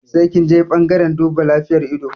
Sai kinje ɓangaren duba lafiyar ido